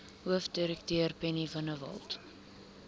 hoofdirekteur penny vinjevold